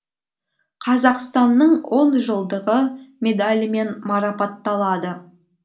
қазақстанның он жылдығы медалімен мараппаталды